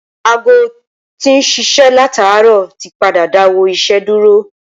aago tó tí ń ṣiṣẹ́ látàárọ̀ ti padà dáwọ́ iṣẹ́ dúró